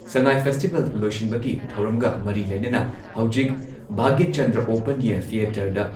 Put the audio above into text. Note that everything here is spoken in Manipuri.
ꯁꯉꯥꯥꯏ ꯐꯦꯁꯇꯤꯚꯦꯜ ꯂꯣꯏꯁꯤꯟꯕꯒꯤ ꯊꯧꯔꯝꯒ ꯃꯔꯤ ꯂꯩꯅꯅ ꯍꯧꯖꯤꯛ ꯚꯥꯒ꯭ꯌꯥꯆꯟꯗ꯭ꯔ ꯑꯣꯄꯟ ꯑꯦꯌꯥꯔ ꯊꯤꯑꯦꯇꯔꯗ